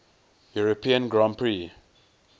european grand prix